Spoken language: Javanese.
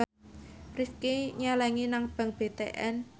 Rifqi nyelengi nang bank BTN